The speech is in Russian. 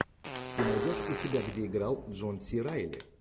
ты найдешь у себя где играл джон си райли